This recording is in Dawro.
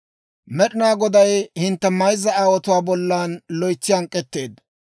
«Med'inaa Goday hintte mayzza aawotuwaa bollan loytsi hank'k'etteedda.